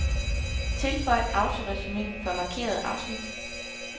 Tilføj autoresumé for markerede afsnit.